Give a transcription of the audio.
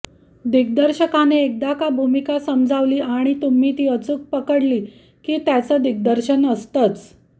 दिग्दर्शकाने एकदा का भूमिका समजावली आणि तुम्ही ती अचूक पकडली की त्याचं दिग्दर्शन असतंच